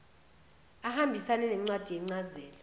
ahambisane nencwadi yencazelo